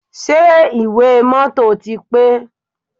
Ṣé ìwé mọ́tọ̀ ti pé?